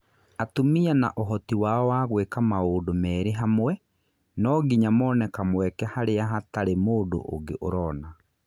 Atumia na ũhooti wao wa gũĩka maũndũ meerĩ hamwe, no-nginya mone kamweke harĩa hatarĩ mũndũ ũngĩ ũrona.